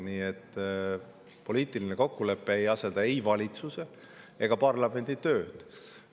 Nii et poliitiline kokkulepe ei asenda valitsuse ega parlamendi tööd.